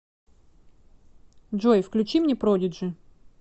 джой включи мне продиджи